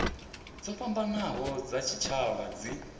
dzo fhambanaho dza tshitshavha dzi